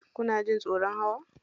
Kuna jin tsoron hawa?